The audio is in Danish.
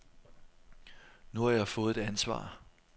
Nu har jeg fået et ansvar.